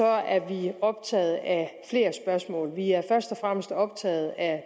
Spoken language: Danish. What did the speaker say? er vi optaget af flere spørgsmål vi er først og fremmest optaget af